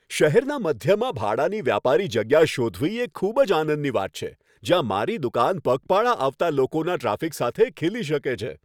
શહેરના મધ્યમાં ભાડાની વ્યાપારી જગ્યા શોધવી એ ખૂબ જ આનંદની વાત છે, જ્યાં મારી દુકાન પગપાળા આવતા લોકોના ટ્રાફિક સાથે ખીલી શકે છે.